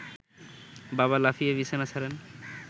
বাবা লাফিয়ে বিছানা ছাড়েন